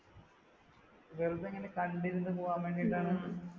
വെറുതെ ഇങ്ങനെ കണ്ടിരുന്നു പോകാൻ വേണ്ടിയിട്ടാണ്